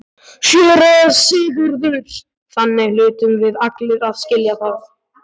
SÉRA SIGURÐUR: Þannig hlutum við allir að skilja það.